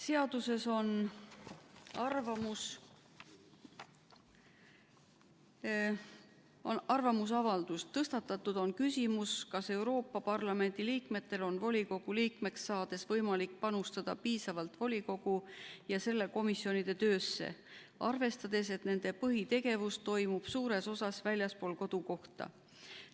Seaduse on arvamusavaldus: "Tõstatatud on küsimus, kas Euroopa Parlamendi liikmetel on volikogu liikmeks saades võimalik panustada piisavalt volikogu ja selle komisjonide töösse, arvestades, et nende põhitegevus toimub suures osas väljaspool kodukohta.